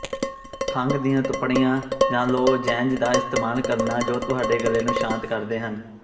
ਖੰਘ ਦੀਆਂ ਤੁਪਣੀਆਂ ਜਾਂ ਲੋਜ਼ੈਂਜ ਦਾ ਇਸਤੇਮਾਲ ਕਰਨਾ ਜੋ ਤੁਹਾਡੇ ਗਲੇ ਨੂੰ ਸ਼ਾਂਤ ਕਰਦੇ ਹਨ